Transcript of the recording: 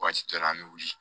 Waati dɔ la an bɛ wuli